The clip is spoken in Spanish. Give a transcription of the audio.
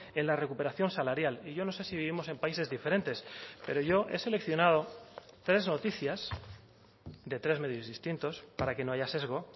en la recuperación salarial y yo no sé si vivimos en países diferentes pero yo he seleccionado tres noticias de tres medios distintos para que no haya sesgo